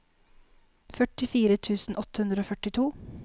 førtifire tusen åtte hundre og førtito